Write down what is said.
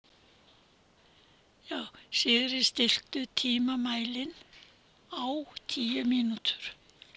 Sigri, stilltu tímamælinn á tíu mínútur.